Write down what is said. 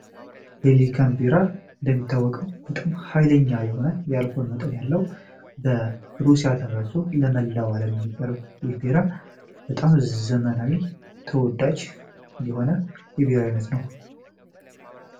ሄሊካን ቤራ እንደሚታወቀው በጣም ኃይለኛ የሆነ ያልኮን መጠን ያለው በሩሲያ ተመሶ ለመላው ዓለም የሚቀርብ ይፌራ በጣም ዘመናዊ ተወዳች የሆነ የቤራይነት ነው